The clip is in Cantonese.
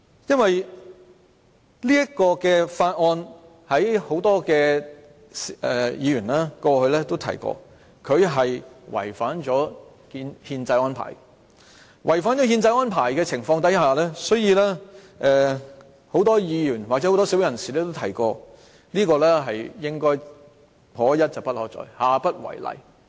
因為許多議員過去也提到《廣深港高鐵條例草案》違反憲制。在違反憲制的情況下，很多議員或社會人士均提出這應該"可一不可再"，下不為例。